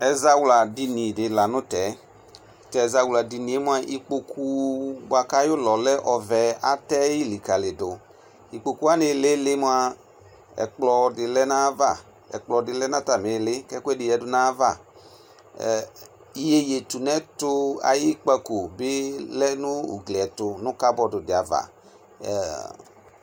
Ɛzawla dini di lanʋ tɛ tʋ azawlɛ dini mʋa ikpokʋ buakʋ ayʋ ʋlɔ lɛ ɔvɛ atayi likalidʋ ikpokʋ wani ilili mʋa ɛkplɔdi lɛnʋ atamili kʋ ɛkʋ ɛdi yanʋ ayava iyeye tʋnʋ ɛtʋ ayʋ ikpakobi lɛnʋ ugli ɛtʋ nʋ kabɔdʋ di ava